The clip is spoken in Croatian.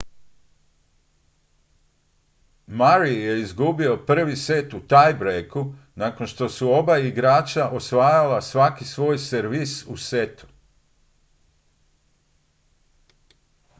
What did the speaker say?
murray je izgubio prvi set u tie-breaku nakon što su oba igrača osvajala svaki svoj servis u setu